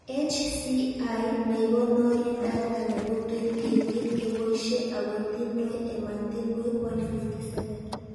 HCI nekonori data nebo 2018 keboishe ako tindoi ematinwek 157